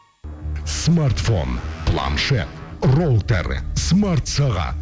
смартфон планшет роутер смарт сағат